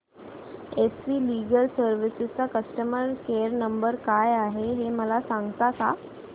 S V legal services चा customer care number काय आहे मला सांगता का